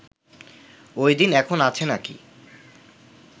ওই দিন এখন আছে নাকি